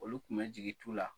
Olu tun bɛ jigi tu la.